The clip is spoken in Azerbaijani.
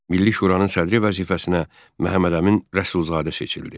Milli Şuranın sədri vəzifəsinə Məhəmməd Əmin Rəsulzadə seçildi.